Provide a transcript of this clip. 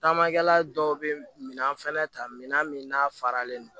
Taamakɛla dɔw bɛ min fɛnɛ ta minɛn min n'a faralen don